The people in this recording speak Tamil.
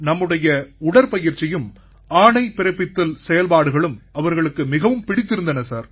நம்முடைய உடற்பயிற்சியும் ஆணை பிறப்பித்தல் செயல்பாடுகளும் அவர்களுக்கு மிகவும் பிடித்திருந்தன சார்